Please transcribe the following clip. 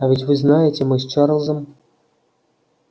а ведь вы знаете мы с чарлзом